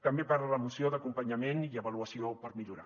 també parla la moció d’acompanyament i avaluació per millorar